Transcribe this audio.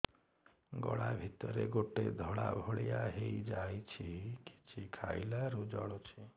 ଗଳା ଭିତରେ ଗୋଟେ ଧଳା ଭଳିଆ ହେଇ ଯାଇଛି କିଛି ଖାଇଲାରୁ ଜଳୁଛି